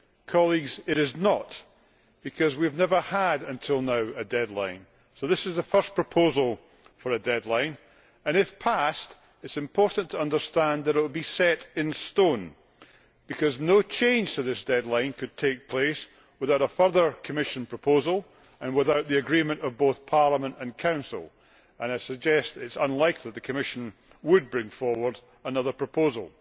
Colleagues, it is not, because we have never had a deadline until now, so this is the first proposal for a deadline and if passed it is important to understand that it will be set in stone, because no change to this deadline could take place without a further Commission proposal and without the agreement of both Parliament and Council and I suggest that it is unlikely that the Commission would bring forward another proposal.